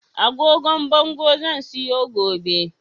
Agogon bango zan siyo gobe